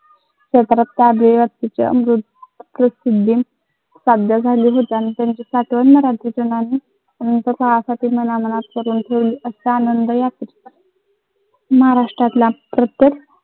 महाराष्ट्रातल्या प्रत्येक